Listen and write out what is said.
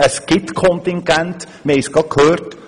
Es gibt Kontingente, wir haben es gehört.